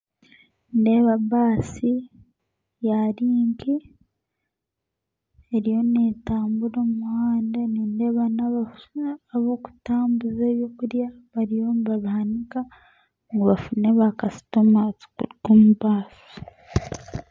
Nindeeba baasi ya linki eriyo neetambura omu muhanda nindeeba nabakutambuza ebyokurya bariyo nibabihanika ngu bafune ba bakasitoma abarikuruga omu baasi